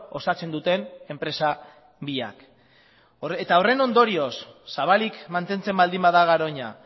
osatzen duten enpresa biak eta horren ondorioz zabalik mantentzen baldin bada garoña